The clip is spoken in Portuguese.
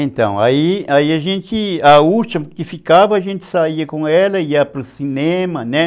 Então, aí aí a gente, a última que ficava, a gente saía com ela, ia para o cinema, né?